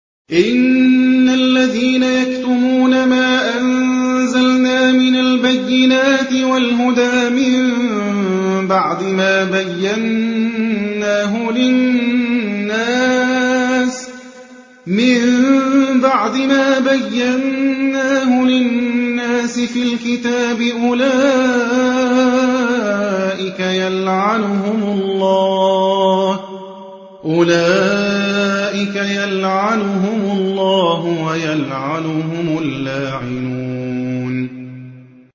إِنَّ الَّذِينَ يَكْتُمُونَ مَا أَنزَلْنَا مِنَ الْبَيِّنَاتِ وَالْهُدَىٰ مِن بَعْدِ مَا بَيَّنَّاهُ لِلنَّاسِ فِي الْكِتَابِ ۙ أُولَٰئِكَ يَلْعَنُهُمُ اللَّهُ وَيَلْعَنُهُمُ اللَّاعِنُونَ